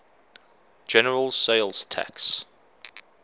general sales tax